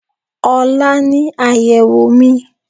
Ọ̀la ni àyèwò mi